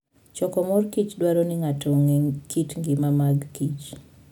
Choko mor kich dwaro ni ng'ato ong'e kit ngima magkich